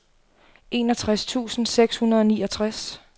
enogtres tusind seks hundrede og niogtres